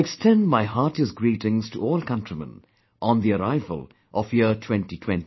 I extend my heartiest greetings to all countrymen on the arrival of year 2020